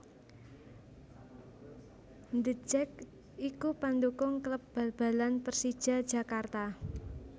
The Jak iku pendukung kléb bal balan Pérsija Jakarta